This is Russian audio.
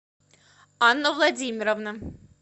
анна владимировна